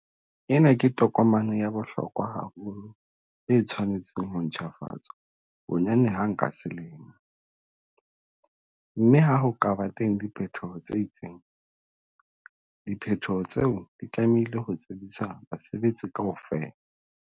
Ena ke tokomane ya bohlokwa haholo e tshwanetseng ho ntjhafatswa bonyane hang ka selemo, mme ha ho ka ba teng diphetoho tse itseng, diphetoho tseo di tlamehile ho tsebiswa basebetsi kaofela.